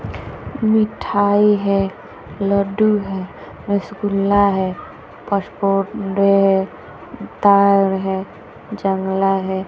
मिठाई है लड्डू है रसगुल्ला है जंगला हैं।